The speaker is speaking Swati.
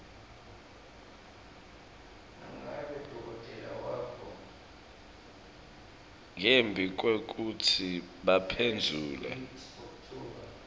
ngembi kwekutsi baphendvule